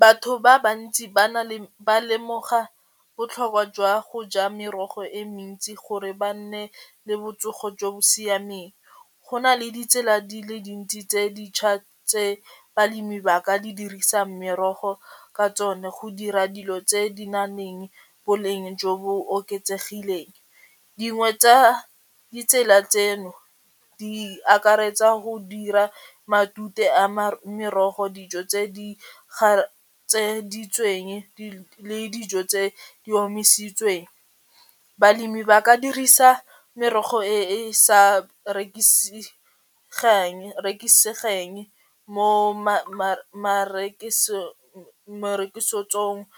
Batho ba bantsi ba lemoga botlhokwa jwa go ja merogo e mentsi gore ba nne le botsogo jo bo siameng, go na le ditsela di le dintsi tse di ntšhwa tse balemi ba ka di dirisang merogo ka tsone go dira dilo tse di naleng boleng jo bo oketsegileng. Dingwe tsa ditsela tseno di akaretsa go dira matute a merogo dijo tse di le dijo tse di omisitsweng. Balemi ba ka dirisa merogo e e sa rekisegeng mo marekisetsong